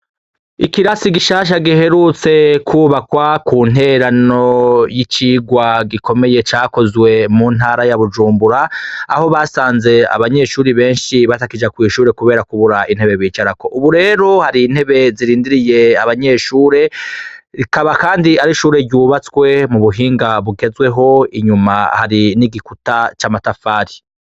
Ikirasi gishasha giherutse kwubakwa, ku ntererano y'icirwa gikomeye cakozwe mu Ntara ya Bujumbura, aho basanze abanyeshure benshi batakija kw'ishure kubera kubura intebe bicarako. Ubu rero, hari intebe zirindiriye abanyeshure. Rikaba kandi ari ishure ryubatswe mubuhinga bugezweho. Inyuma hari n'igikuta c'amatafari.